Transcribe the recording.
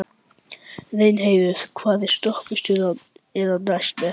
Reynheiður, hvaða stoppistöð er næst mér?